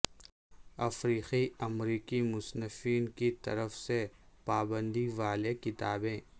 افریقی امریکی مصنفین کی طرف سے پابندی والے کتابیں